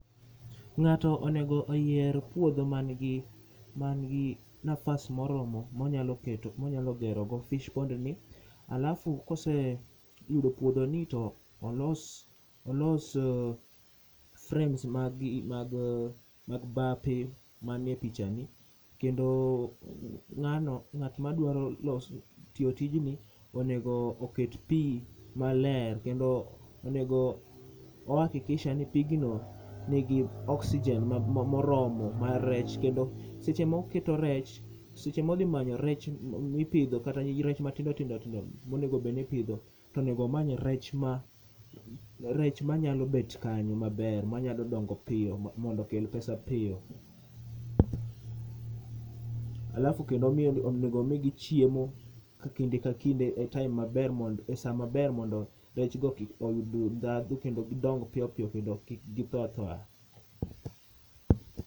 Ng'ato onego oyier puodho man gi, man gi nafas moromo monyalo keto, monyalo gero go fish pond ni. Alafu kose yudo puodhoni to olos frames mag bape mane pichani. Kendo ng'ano, ng'at madwaro loso tiyo tijni onego oket pi maler. Kendo onego o hakikisha ni pigno nigi oxijen ma moromo ma rech, kendo seche moketo rech, seche modhi manyo rech mipidho kata rech matindo tindo tindo monegobedni ipidho. Tonegomany rech ma, rech manyalo bet kanyo maber. Manyalo dongo piyo mondokel pesa piyo. Alafu kendo omiyogi, onego omigi chiemo e kinde ka kinde e time maber mond, e sa maber mondo rechgo kik obi ndhadhu kendo gidong piyopiyo kendo kik kitho athoya.